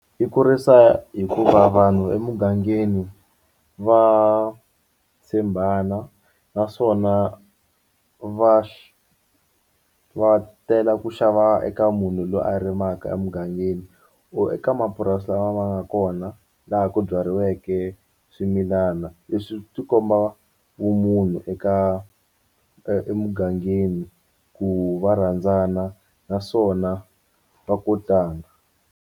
I kurisa hikuva vanhu emugangeni va tshembana naswona va va tela ku xava eka munhu loyi a rimaka emugangeni or eka mapurasi lama ma nga kona laha ku byariweke swimilana leswi swi tikomba vumunhu eka emugangeni ku va rhandzana naswona va kotana.